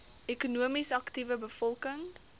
ekonomies aktiewe bevolking